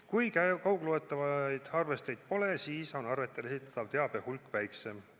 Kui kaugloetavaid arvesteid pole, siis on arvetel esitatava teabe hulk väiksem.